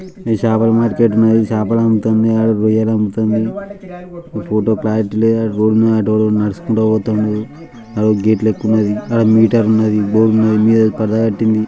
చేపల మార్కెట్ ఉన్నది. చాపలమ్ముతుంది ఆడ రొయ్యలమ్ముతుంది. ఫోటో క్లారిటీ లేదు. అక్కడ రోడ్డు మీద అటు ఒకడు నడుచుకుంటూ పోతుండు. ఆడ ఓ గేటు లెక్క ఉన్నది. ఆడ మీటర్ ఉన్నది. బోర్డ్ ఉన్నది మీద పరద కట్టింది.